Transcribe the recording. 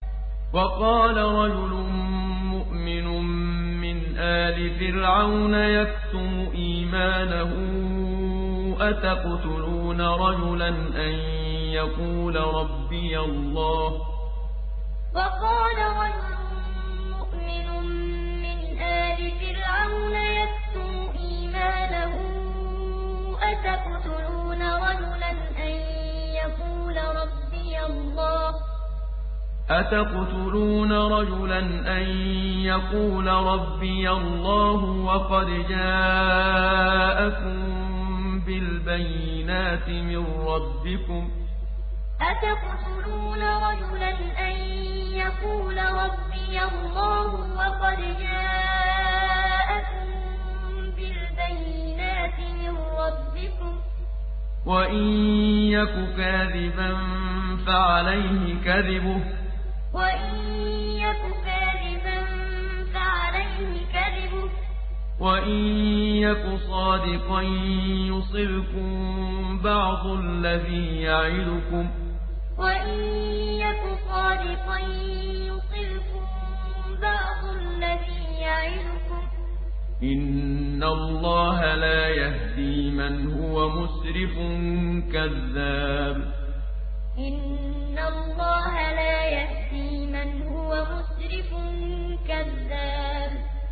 وَقَالَ رَجُلٌ مُّؤْمِنٌ مِّنْ آلِ فِرْعَوْنَ يَكْتُمُ إِيمَانَهُ أَتَقْتُلُونَ رَجُلًا أَن يَقُولَ رَبِّيَ اللَّهُ وَقَدْ جَاءَكُم بِالْبَيِّنَاتِ مِن رَّبِّكُمْ ۖ وَإِن يَكُ كَاذِبًا فَعَلَيْهِ كَذِبُهُ ۖ وَإِن يَكُ صَادِقًا يُصِبْكُم بَعْضُ الَّذِي يَعِدُكُمْ ۖ إِنَّ اللَّهَ لَا يَهْدِي مَنْ هُوَ مُسْرِفٌ كَذَّابٌ وَقَالَ رَجُلٌ مُّؤْمِنٌ مِّنْ آلِ فِرْعَوْنَ يَكْتُمُ إِيمَانَهُ أَتَقْتُلُونَ رَجُلًا أَن يَقُولَ رَبِّيَ اللَّهُ وَقَدْ جَاءَكُم بِالْبَيِّنَاتِ مِن رَّبِّكُمْ ۖ وَإِن يَكُ كَاذِبًا فَعَلَيْهِ كَذِبُهُ ۖ وَإِن يَكُ صَادِقًا يُصِبْكُم بَعْضُ الَّذِي يَعِدُكُمْ ۖ إِنَّ اللَّهَ لَا يَهْدِي مَنْ هُوَ مُسْرِفٌ كَذَّابٌ